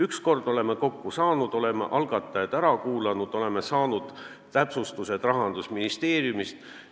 Üks kord oleme kokku saanud, oleme algatajad ära kuulanud, oleme saanud täpsustused Rahandusministeeriumist.